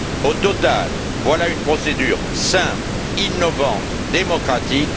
Au total, voilà une procédure simple, innovante, démocratique.